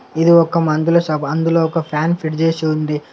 ఇది ఒక మందుల షాపు . అందులో ఒక ఫ్యాన్ ఫిట్ చేసి ఉంది.